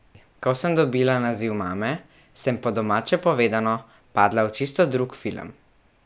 Ko sem dobila naziv mame, sem, po domače povedano, padla v čisto drug film.